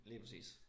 Lige præcis